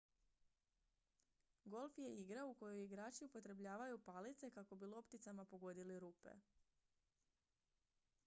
golf je igra u kojoj igrači upotrebljavaju palice kako bi lopticama pogodili rupe